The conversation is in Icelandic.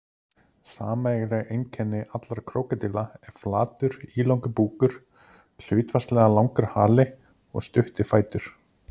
Sameiginleg einkenni allra krókódíla er flatur, ílangur búkur, hlutfallslega langur hali og stuttir fætur.